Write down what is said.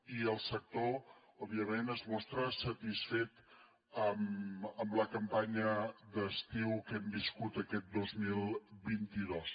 i el sector òbviament es mostra satisfet amb la campanya d’estiu que hem viscut aquest dos mil vint dos